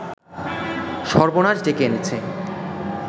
সর্বনাশ ডেকে এনেছে